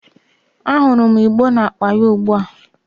Ahurum igbo na-akpa ya ugbua